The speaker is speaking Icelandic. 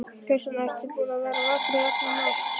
Kristján: Ertu búinn að vera vakandi í alla nótt?